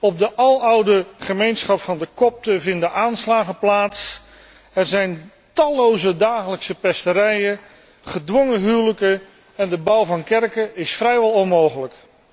Op de aloude gemeenschap van de kopten vinden aanslagen plaats, er zijn talloze dagelijkse pesterijen, gedwongen huwelijken, en de bouw van kerken is vrijwel onmogelijk.